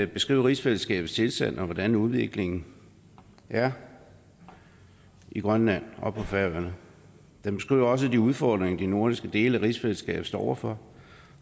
beskriver rigsfællesskabets tilstand og hvordan udviklingen er i grønland og på færøerne den beskriver også de udfordringer de nordligste dele af rigsfællesskabet står over for